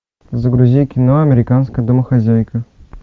загрузи кино американская домохозяйка